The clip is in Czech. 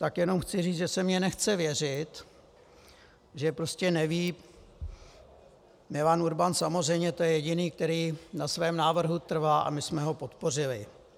Tak jenom chci říct, že se mi nechce věřit, že prostě neví - Milan Urban samozřejmě, to je jediný, který na svém návrhu trvá, a my jsme ho podpořili.